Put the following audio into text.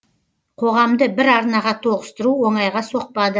қоғамды бір арнаға тоғыстыру оңайға соқпады